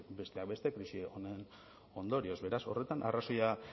besteak beste krisi honen ondorioz beraz horretan arrazoia